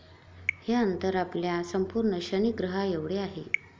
हे अंतर आपल्या संपूर्ण शनि ग्रहाएवढे आहे.